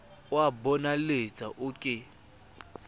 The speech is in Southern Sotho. o a bonahaletsa o ke